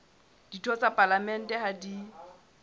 ditho tsa palamente ha di